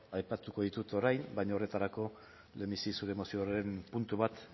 aipatuko ditut orain baina horretarako lehenbizi zure mozioaren puntu bat